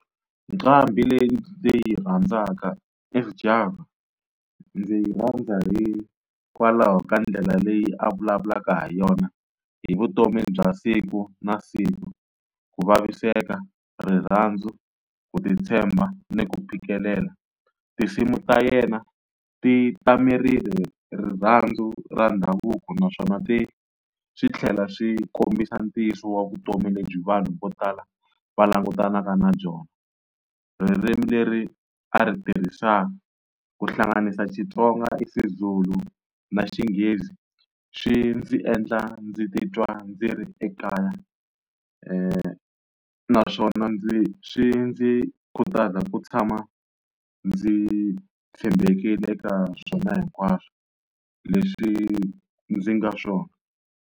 Nqambhi leyi ndzi yi rhandzaka i Sjava, ndzi yi rhandza hikwalaho ka ndlela leyi a vulavulaka ha yona hi vutomi bya siku na siku, ku vaviseka, rirhandzu, ku titshemba, ni ku phikelela. Tinsimu ta yena ti tamerile rirhandzu ra ndhavuko naswona ti swi tlhela swi kombisa ntiyiso wa vutomi lebyi vanhu vo tala va langutanaka na byona. Ririmi leri a ri tirhisaka ku hlanganisa Xitsonga, isiZulu, na Xinghezi swi ndzi endla ndzi titwa ndzi ri ekaya, naswona ndzi swi ndzi khutaza ku tshama ndzi tshembekile eka swona hinkwaswo leswi ndzi nga swona.